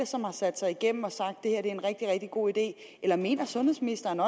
som har sat sig igennem og sagt at det her er en rigtig rigtig god idé eller mener sundhedsministeren